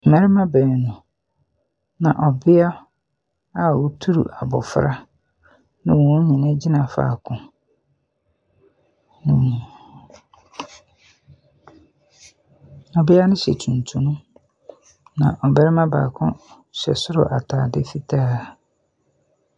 Mmarima baanu na ɔbea a ɔturu abɔfra na wɔn nyinaa gyina faako. ℇbea no hyɛ tuntum, na ɔbarima baako hyɛ soro ataade fitaa.